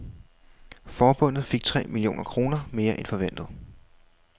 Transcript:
Forbundet fik tre millioner kroner mere end forventet.